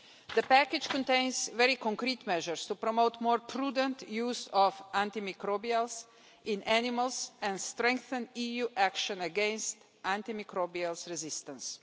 The package contains very concrete measures to promote more prudent use of antimicrobials in animals and strengthen EU action against antimicrobial resistance.